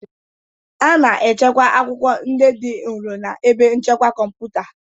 A na-echekwa akwụkwọ ndị dị nro na ebe nchekwa kọmputa